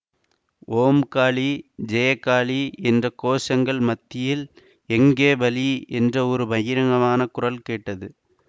ஓம் காளி ஜய காளி என்ற கோஷங்கள் மத்தியில் எங்கே பலி என்ற ஒரு பயங்கரமான குரல் கேட்டது